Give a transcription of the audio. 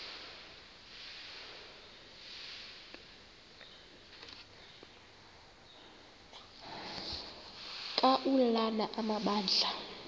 ka ulana amabandla